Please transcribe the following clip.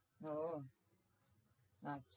ও ও